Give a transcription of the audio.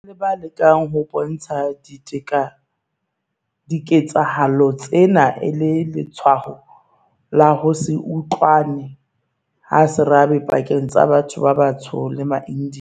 Ho na le ba lekang ho bontsha diketsahalo tsena e le letshwao la ho se utlwane ha serabe pakeng tsa batho ba batsho le maIndiya.